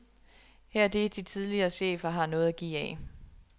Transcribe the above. Her er det, de tidligere chefer har noget at give af.